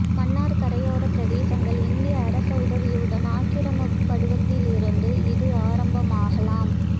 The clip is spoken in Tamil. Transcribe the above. மன்னார் கரையோரப் பிரதேசங்கள் இந்திய அரச உதவியுடன் ஆக்கிரமிக்கப் படுவதிலிருந்து இது ஆரம்பமாகலாம்